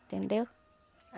Entendeu?